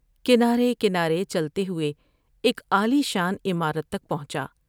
کنارے کنارے چلتے ہوئے ایک عالی شان عمارت تک پہنچا ۔